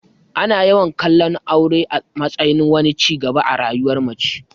Ana yawan kallon aure a matsayin wani ci gaba a rayuwar mace.